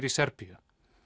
í Serbíu